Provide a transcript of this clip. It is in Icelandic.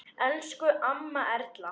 Elsku amma Erla.